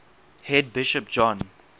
head bishop john